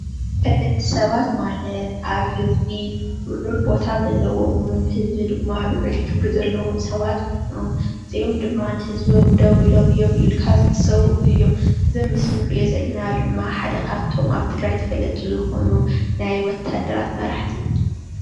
ተፈለጥቲ ሰባት ማለት ኣብ ህዝቢ ልዑል ቦታ ዘለዎምን ብህዝቢ ድማ ልዑል ክብሪ ዘለዎም ሰባት ኮይኖም እዚኦም ድማ ንህዝቦም ደው ኢሎም እዮም ኢልካ ዝሕሰቡ እዮም፡፡ እዚ ኣብ ምስሊ እንሪኦ ዘለና ድማ ሓደ ካብቶም ኣብ ትግራይ ተፈለጥቲ ዝኾኑ ናይ ወታደራት መራሕቲ እዩ፡፡